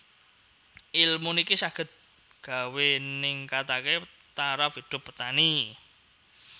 Ilmu niki saged gawé ningkatake taraf hidup petani